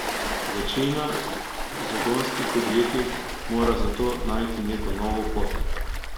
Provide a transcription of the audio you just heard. Večina zagonskih podjetij mora zato najti neko novo pot.